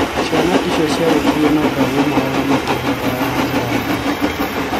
Ciana icio ciarikirie mathomo mao na makĩhootana na njĩra nene.